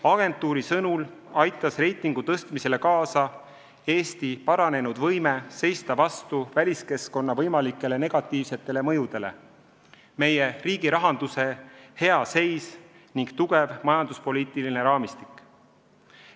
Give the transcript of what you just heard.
Agentuuri sõnul aitas reitingu tõstmisele kaasa Eesti paranenud võime seista vastu väliskeskkonna võimalikele negatiivsetele mõjudele, meie riigi rahanduse hea seis ning tugev majanduspoliitiline raamistik.